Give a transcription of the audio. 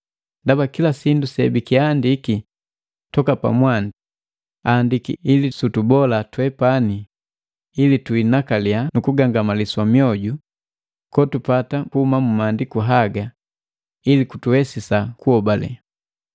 Ndaba, kila sindu sebikiandiki toka mwandi aandiki ili sutubolisa twepani ndaba tuinakalia nukugangamaliswa mioju kotupata kuhuma mu Maandiku haga, kutuwesisa kuhobale.